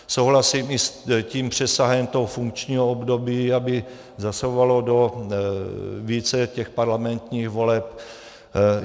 Souhlasím i s tím přesahem toho funkčního období, aby zasahovalo do více těch parlamentních voleb.